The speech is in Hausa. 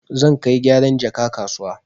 Zan kai gyaran jaka kasuwa.